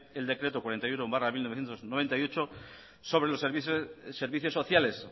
el decreto cuarenta y uno barra mil novecientos noventa y ocho sobre los servicios sociales